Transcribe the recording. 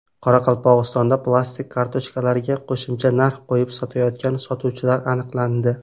Qoraqalpog‘istonda plastik kartochkalarga qo‘shimcha narx qo‘yib sotayotgan sotuvchilar aniqlandi.